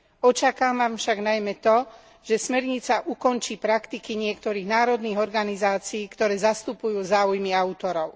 Očakávam však najmä to, že smernica ukončí praktiky niektorých národných organizácií, ktoré zastupujú záujmy autorov.